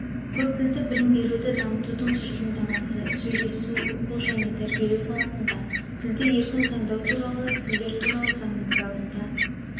көп тілді білім беруді дамытудың тұжырымдамасы сөйлесу оқу және тәрбиелеу саласында тілді еркін таңдау туралы тілдер туралы заңның бабында